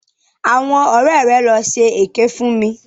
Àwọn ọ̀rẹ́ rẹ̀ ló ṣe èké fún mi.